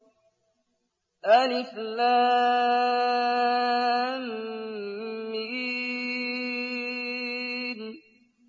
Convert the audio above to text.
الم